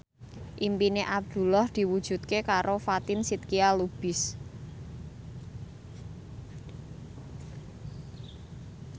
impine Abdullah diwujudke karo Fatin Shidqia Lubis